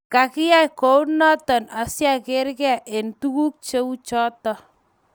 Kyayei kunoto asiagerge eng tuguk cheuchoto